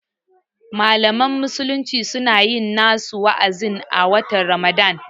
Malaman musulmi suna yin nasu wa'azin a watan Ramadan